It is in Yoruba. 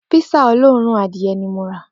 Písà olóòórùn adìye̩ ni mo rà